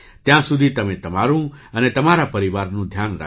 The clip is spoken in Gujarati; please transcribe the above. ત્યાં સુધી તમે તમારું અને તમારા પરિવારનું ધ્યાન રાખજો